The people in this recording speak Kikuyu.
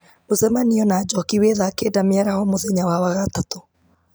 mũcemanio na njoki wĩ thaa kenda mĩaraho mũthenya wa wagatatũ